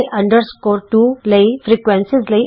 ਅਤੇ L 2 ਫ੍ਰੀਕੁਐਂਸੀਆਂ ਲਈ